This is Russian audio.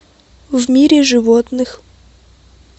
в мире животных